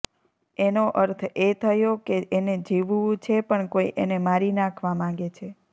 એનો અર્થ એ થયો કે એને જીવવું છે પણ કોઈ એને મારી નાંખવા માંગે છે